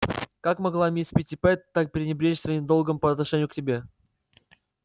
как могла мисс питтипэт так пренебречь своим долгом по отношению к тебе